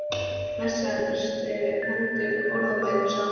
Blessaður lestu heldur orðabækur, sagði hann.